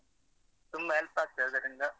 ತುಂಬ help ಆಗ್ತದೆ ಅದರಿಂದ.